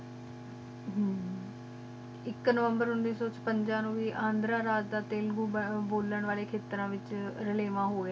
ਇਕ ਨਵੰਬਰ ਉਨੀਸ ਸੋ ਸਤਵੰਜਾ ਨੋ ਵੀ ਅੰਦਰ ਰਾਜ ਦਾ ਤੈਲ੍ਗੋ ਬੋਲਾਂ ਵਾਲੇ ਖਿਤ੍ਰ ਵਿਚ ਲੇਵਾ ਹ